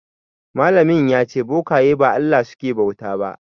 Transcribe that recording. Malamin ya ce bokaye ba Allah suke bauta ba.